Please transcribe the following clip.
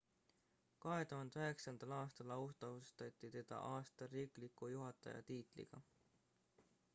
2009 aastal autasustati teda aasta riikliku juhataja tiitliga